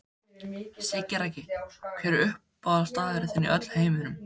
Siggi Raggi Hver er uppáhaldsstaðurinn þinn í öllum heiminum?